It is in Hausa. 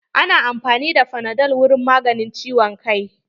Ana amfani da fanadol wurin magance ciwon kai.